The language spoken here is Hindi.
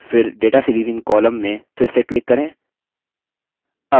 फिर data series in column में फिर से click करें